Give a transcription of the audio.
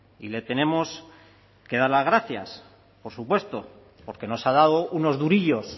y le tenemos que dar las gracias por supuesto porque nos ha dado unos durillos